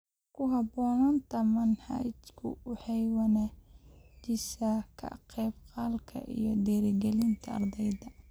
Ku habboonaanta manhajku waxay wanaajisaa ka-qaybgalka iyo dhiirigelinta ardayda.